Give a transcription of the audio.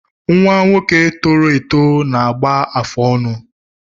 Nnwa nwoke tọrọ eto na-agba afụ ọnụ